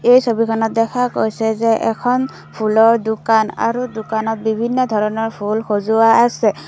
এই ছবিখনত দেখা গৈছে যে এখন ফুলৰ দোকান আৰু দোকানত বিভিন্ন ধৰণৰ ফুল সজোৱা আছে।